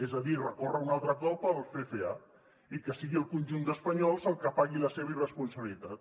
és a dir recórrer a un altre cop al ffa i que sigui el conjunt d’espanyols el que pagui la seva irresponsabilitat